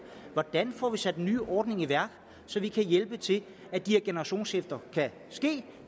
hvordan får vi sat en ny ordning i værk så vi kan hjælpe til at de her generationsskifter kan ske